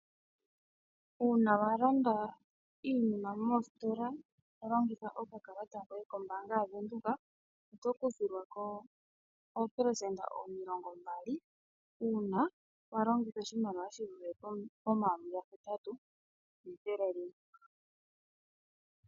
Uuna wa landa iinima moositola to longitha okakalata koye kombaanga yaVenduka, oto kuthilwa ko oopelesenda omilongo mbali, uuna walongitha oshimaliwa shivule pomayovi gahetatu nethele limwe.